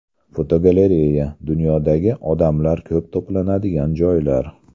Fotogalereya: Dunyodagi odamlar ko‘p to‘planadigan joylar.